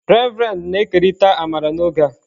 Reverend na-ekerịta amara n'oge a.